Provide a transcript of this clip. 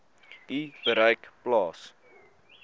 u bereik plaas